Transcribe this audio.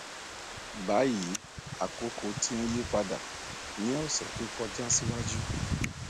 bayi akoko ti n yipada ni ọsẹ to kọja siwaju